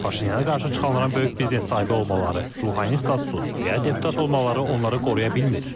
Paşinyana qarşı çıxanların böyük biznes sahibi olmaları, ruhani statusu və ya deputat olmaları onları qoruya bilmir.